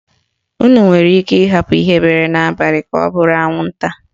Unu nwere ike ịhapụ ihe bere n'abalị ka ọ bụrụ anwụnta.